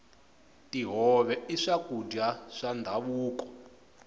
tihove i swakudya swa ndhavuko